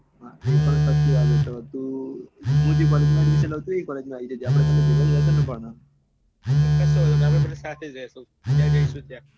એ પણ સાચી વાત છે તારી હું જે college માં લઉં ચુ તું એ college માં આઈ જા આપડે બને ભેગા થઇ જૈસુ આપડે બને સાથે રહીશું જ્યાં જૈસુ ત્યાં